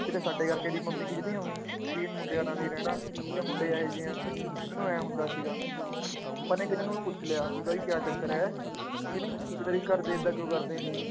ਕਿਤੇ ਸਾਡੇ ਕਰਕੇ ਇਹਦੀ ਮੰਮੀ ਖਿਝਦੀ ਹੋਣੀ, ਵੀ ਇਹ ਮੁੰਡਿਆਂ ਨਾਲ ਹੀ ਰਹਿਣਾ, ਇਹ ਮੁੰਡੇ ਇਹ ਜਿਹੇ ਆ, ਮੈਨੂੰ ਇਉਂ ਹੁੰਦਾ ਸੀਗਾ, ਆਪਾਂ ਨੇ ਇੱਕ ਦਿਨ ਉਹਨੂੰ ਪੁੱਛ ਲਿਆ ਵੀ ਬਾਈ ਕਿਆ ਚੱਕਰ ਹੈ, ਠੀਕ ਨੀ, ਵੀ ਤੇਰੇ ਘਰਦੇ ਏਦਾਂ ਕਿਉਂ ਕਰਦੇ ਆ,